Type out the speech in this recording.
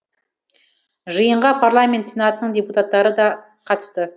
жиынға парламент сенатының депутаттары да қатысты